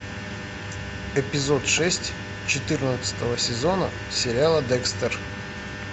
эпизод шесть четырнадцатого сезона сериала декстер